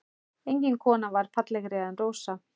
Engin kona var fallegri en Rósa.